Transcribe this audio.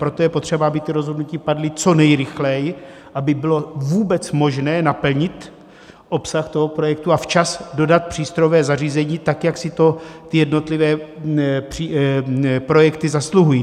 Proto je potřeba, aby ta rozhodnutí padla co nejrychleji, aby bylo vůbec možné naplnit obsah toho projektu a včas dodat přístrojové zařízení, tak jak si to ty jednotlivé projekty zasluhují.